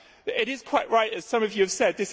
It is quite right, as some of you have said